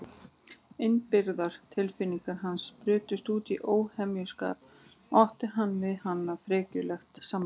Innibyrgðar tilfinningar hans brutust út í óhemjuskap og átti hann við henni frekjulegt samræði.